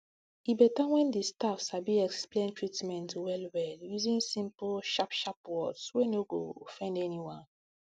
e beta when di staff sabi explain treatment wellwell using simple sharp sharp words wey no go offend anyone